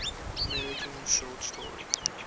american short story